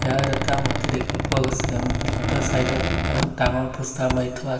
ইয়াত এটা মূৰ্ত্তি দেখিব পোৱা গৈছে মূৰ্ত্তিটোৰ চাইড ত এখন ডাঙৰ প'ষ্টাৰ মাৰি থোৱা আছে।